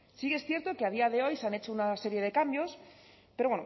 sí que es cierto que a día de hoy se han hecho una serie de cambios pero